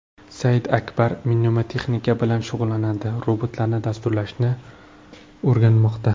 Saidakbar mnemotexnika bilan shug‘ullanadi, robotlarni dasturlashni o‘rganmoqda.